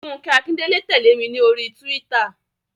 Fúnkẹ́ Akíndélé tẹ̀lé mi ní oríi túwítà